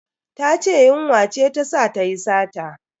Ta ce yunwa ce ta sa tayi sata.